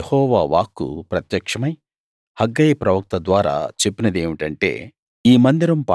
అందుకు యెహోవా వాక్కు ప్రత్యక్షమై హగ్గయి ప్రవక్త ద్వారా చెప్పినదేమిటంటే